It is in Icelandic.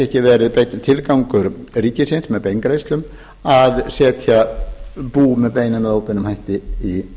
ekki verið beinn tilgangur ríkisins með beingreiðslum að setja bú með beinum eða óbeinum hætti í